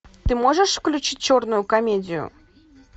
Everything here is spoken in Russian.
ты можешь включить черную комедию